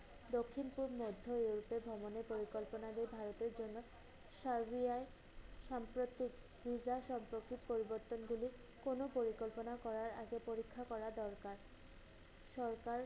দক্ষিনপুর মধ্য Europe এর ভ্রমণের পরিকল্পনা যে ভারতের জন্য সার্বিয়ায় সাম্প্রতিক হিজা শব্দটি পরিবর্তনগুলো কোন পরিকল্পনা করার আগে পরীক্ষা করা দরকার। সরকার